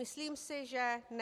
Myslím si, že ne.